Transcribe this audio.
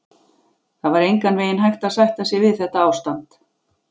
Það var engan veginn hægt að sætta sig við þetta ástand.